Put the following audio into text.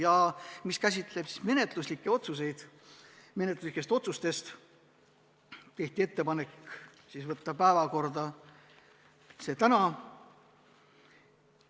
Ja mis puudutab menetluslikke otsuseid, siis tehti ettepanek võtta see eelnõu tänasesse päevakorda.